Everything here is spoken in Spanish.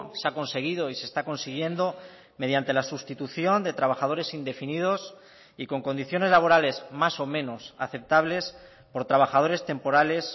se ha conseguido y se está consiguiendo mediante la sustitución de trabajadores indefinidos y con condiciones laborales más o menos aceptables por trabajadores temporales